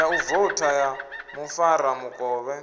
ya u vouta ya mufaramukovhe